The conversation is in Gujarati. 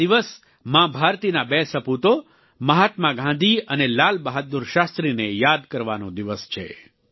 આ દિવસ માં ભારતીના બે સપૂતો મહાત્મા ગાંધી અને લાલ બહાદુર શાસ્ત્રીને યાદ કરવાનો દિવસ છે